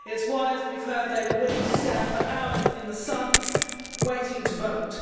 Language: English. That is why, as we have heard, they were willing to stand for hours in the sun waiting to vote.